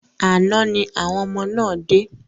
Àná ni àwọn ọmọ náà dé.